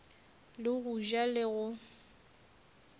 le go ja le go